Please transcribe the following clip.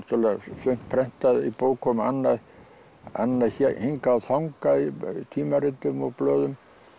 sumt prentað í bókum og annað annað hingað og þangað í tímaritum og blöðum